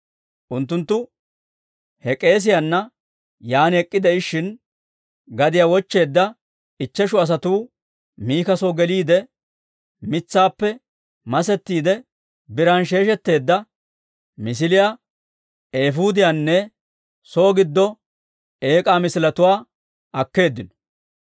Unttunttu he k'eesiyaana yaan ek'k'ide'ishin, gadiyaa wochcheedda ichcheshu asatuu Mika soo geliide, mitsaappe masettiide biran sheeshetteedda misiliyaa, eefuudiyaanne soo giddo eek'aa misiletuwaa akkeeddino.